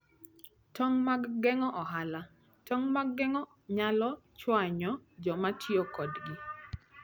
Tong' mag Geng'o Ohala: Tong' mag ohala nyalo chwanyo joma tiyo kodgi.